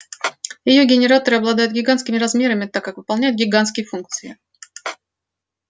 её генераторы обладают гигантскими размерами так как выполняют гигантские функции